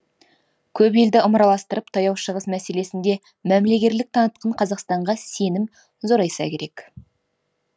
көп елді ымыраластырып таяу шығыс мәселесінде мәмілегерлік танытқан қазақстанға сенім зорайса керек